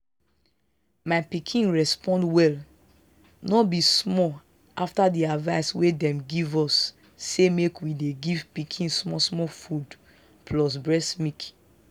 my pikin respond well no be small afta the advice wey them give us say make we dey give pikin small small food plus breast milk.